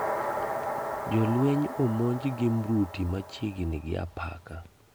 Jolweny omonj gi mrutu machiegni gi apaka